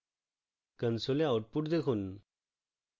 console output দেখুন